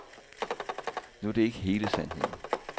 Nu er det ikke hele sandheden.